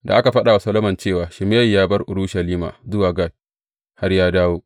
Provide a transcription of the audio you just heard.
Da aka faɗa wa Solomon cewa Shimeyi ya bar Urushalima zuwa Gat, har ya dawo.